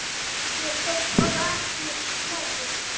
Ég stóðst bara ekki mátið.